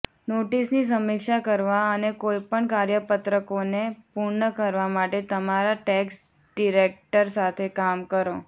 નોટિસની સમીક્ષા કરવા અને કોઈપણ કાર્યપત્રકોને પૂર્ણ કરવા માટે તમારા ટેક્સ ડિરેક્ટર સાથે કામ કરો